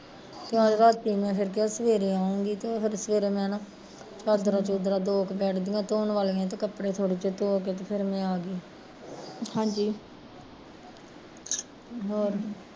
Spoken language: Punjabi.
ਰਾਤੀ ਮੈਂ ਫਿਰ ਕਿਹਾ ਮੈਂ ਸਵੇਰੇ ਆਊਗੀ ਸਵੇਰੇ ਫਿਰ ਮੈਂ, ਚਾਦਰਾਂ ਚਉਦਰਾ ਬੈਡ ਦੀਆ ਦੋ ਕੁ ਧੋਣ ਵਾਲੀਆ ਸੀ ਤੇ ਮੈਂ, ਮੈਂ ਕੱਪੜੇ ਥੋੜੇ ਜਹੇ ਧੋ ਕੇ ਫਿਰ ਮੈਂ ਆਗੀ ਹੋਰ